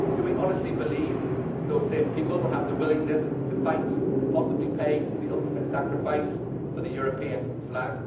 Do we honestly believe that those same people would have the willingness to fight and possibly pay the ultimate sacrifice for the European flag?